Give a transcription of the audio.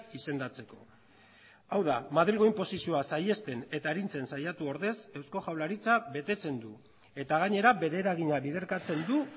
izendatzeko hau da madrilgo inposizioa saihesten eta arintzen saiatu ordez eusko jaurlaritza betetzen du eta gainera bere eragina biderkatzen du